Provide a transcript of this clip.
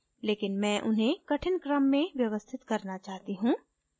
लेकिन मैं उन्हें कठिन क्रम में व्यवस्थित करना चाहती हूँ